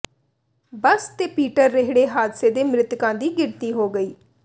ਬੱਸ ਤੇ ਪੀਟਰ ਰੇਹੜੇ ਹਾਦਸੇ ਦੇ ਮਿ੍ਤਕਾਂ ਦੀ ਗਿਣਤੀ ਦੋ ਹੋਈ